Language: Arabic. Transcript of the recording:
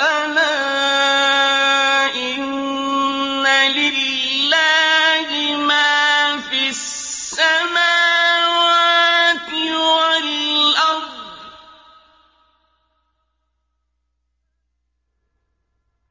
أَلَا إِنَّ لِلَّهِ مَا فِي السَّمَاوَاتِ وَالْأَرْضِ ۗ